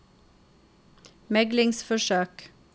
meglingsforsøk